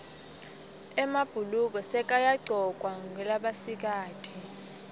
emabhuluko sekayagcokwa ngulabasikati